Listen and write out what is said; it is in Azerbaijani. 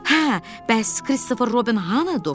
Hə, bəs Kristofer Robbin hanı?